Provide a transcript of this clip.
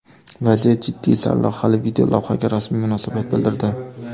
Vaziyat jiddiy” sarlavhali videolavhaga rasmiy munosabat bildirdi .